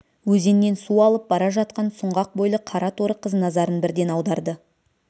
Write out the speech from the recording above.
өзеннен су алып бара жатқан сұңғақ бойлы қара торы қыз назарын бірден аударды